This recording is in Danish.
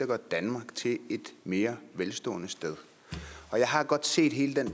gør danmark til et mere velstående sted jeg har godt set hele den